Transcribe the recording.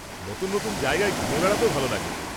-নতুন নতুন জায়গায় ঘুরে বেড়াতেও ভালো লাগে।